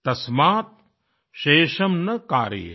तस्मात् शेषम् न कारयेत